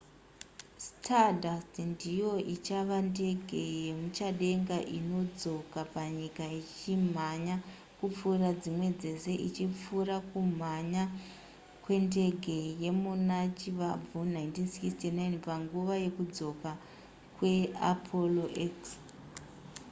stardust ndiyo ichava ndege yemuchadenga inodzoka panyika ichimhanya kupfuura dzimwe dzese ichipfuura kumhanya kwendege yemuna chivabvu 1969 panguva yekudzoka kweapollo x